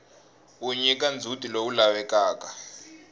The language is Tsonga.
wu nyika ndzhutilowu lavekaka